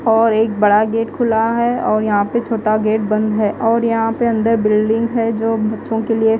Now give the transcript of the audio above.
और एक बड़ा गेट खुला है और यहां पे छोटा गेट बंद है और यहां पे अंदर बिल्डिंग है जो बच्चों के लिए--